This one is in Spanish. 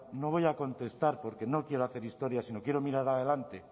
no voy a contestar porque no quiero hacer historia sino quiero mirar adelante